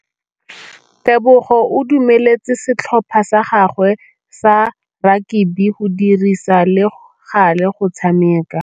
Tebogô o dumeletse setlhopha sa gagwe sa rakabi go dirisa le galê go tshameka.